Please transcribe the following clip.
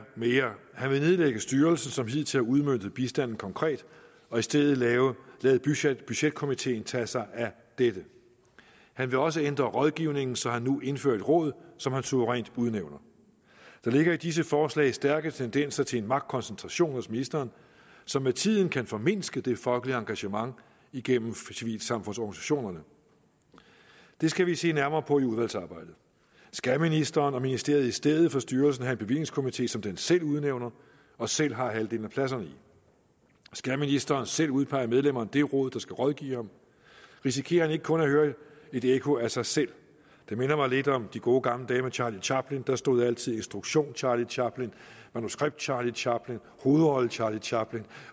at han vil nedlægge styrelsen som hidtil har udmøntet bistanden konkret og i stedet lade lade budgetkomiteen tage sig af dette han vil også ændre rådgivningen så han nu indfører et råd som han suverænt udnævner der ligger i disse forslag stærke tendenser til en magtkoncentration hos ministeren som med tiden kan formindske det folkelige engagement igennem civilsamfundsorganisationerne det skal vi se nærmere på i udvalgsarbejdet skal ministeren og ministeriet i stedet for styrelsen have en bevillingskomite som den selv udnævner og selv har halvdelen af pladserne i skal ministeren selv udpege medlemmerne af det råd der skal rådgive ham risikerer han ikke kun at høre et ekko af sig selv det minder mig lidt om de gode gamle dage med charlie chaplin der stod altid instruktion charlie chaplin manuskript charlie chaplin hovedrolle charlie chaplin